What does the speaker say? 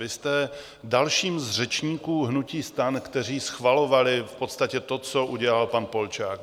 Vy jste dalším z řečníků hnutí STAN, kteří schvalovali v podstatě to, co udělal pan Polčák.